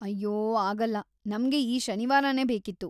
ಅಯ್ಯೋ ಆಗಲ್ಲ, ನಮ್ಗೆ ಈ ಶನಿವಾರನೇ ಬೇಕಿತ್ತು.